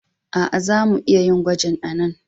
Aa, za mu iya yin gwajin a'nan.